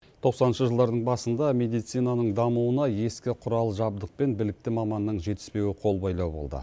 тоқсаныншы жылдардың басында медицинаның дамуына ескі құрал жабдық пен білікті маманның жетіспеуі қолбайлау болды